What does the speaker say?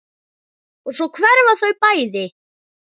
Og svo hverfa þau bæði.